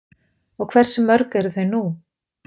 Og hversu mörg eru þau nú?